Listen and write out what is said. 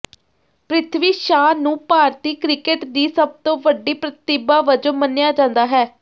ਪ੍ਰਿਥਵੀ ਸ਼ਾ ਨੂੰ ਭਾਰਤੀ ਕ੍ਰਿਕਟ ਦੀ ਸਭ ਤੋਂ ਵੱਡੀ ਪ੍ਰਤਿਭਾ ਵਜੋਂ ਮੰਨਿਆ ਜਾਂਦਾ ਹੈ